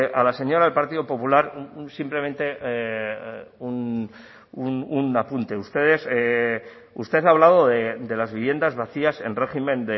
a la señora del partido popular simplemente un apunte apunte ustedes usted ha hablado de las viviendas vacías en régimen